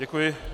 Děkuji.